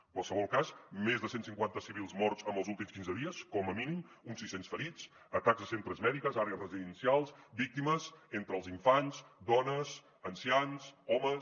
en qualsevol cas més de cent cinquanta civils morts en els últims quinze dies com a mínim uns sis cents ferits atacs a centres mèdics àrees residencials víctimes entre els infants dones ancians homes